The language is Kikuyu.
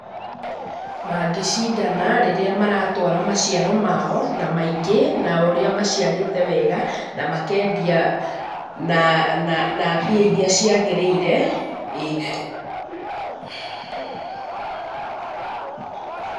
Mangĩcindana rĩrĩa maratwara maciaro mao na maingĩ na ũrĩa maciarĩte wega na makendia na mbia iria ciagĩrĩire.